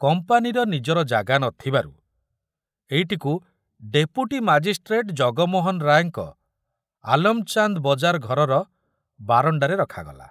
କମ୍ପାନୀର ନିଜର ଜାଗା ନଥିବାରୁ ଏଇଟିକୁ ଡେପୁଟୀ ମାଜିଷ୍ଟ୍ରେଟ ଜଗମୋହନ ରାୟଙ୍କ ଆଲମଚାନ୍ଦ ବଜାର ଘରର ବାରଣ୍ଡାରେ ରଖାଗଲା।